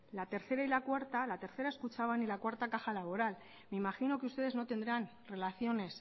la tercera y la cuarta la tercera es kutxabank y la cuarta caja laboral me imagino que ustedes no tendrán relaciones